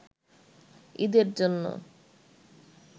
ঈদের জন্য